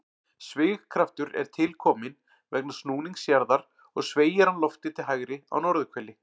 Svigkraftur er til kominn vegna snúnings jarðar og sveigir hann loftið til hægri á norðurhveli.